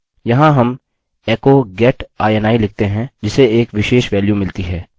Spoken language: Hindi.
यहाँ हम echo get ini लिखते हैं जिसे एक विशेष वेल्यू मिलती है